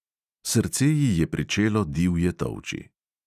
Srce ji je pričelo divje tolči.